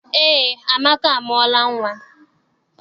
Eé, Amaka amụọla nnwa.